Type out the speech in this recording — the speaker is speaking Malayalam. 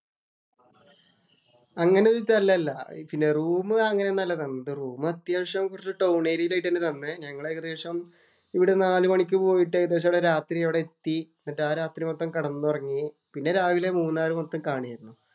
അങ്ങനെയായിട്ടല്ലല്ല. പിന്നെ റൂം അങ്ങനെയൊന്നുമല്ല തന്നത്. റൂം അത്യാവശ്യം കുറച്ച് ടൌണ്‍ ഏരിയായിലായിട്ടാണ് തന്നേ. ഞങ്ങൾ ഇവിടെ നാലുമണിക്ക് പോയിട്ട്‌ ഏകദേശം രാത്രി അവിടെയെത്തി. എന്നിട്ട് ആ രാത്രി മൊത്തം കെടന്നുറങ്ങി. പിന്നെ രാവിലെ മൂന്നാറ് മൊത്തം കാണുകയായിരുന്നു.